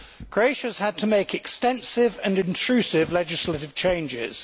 Croatia has had to make extensive and intrusive legislative changes.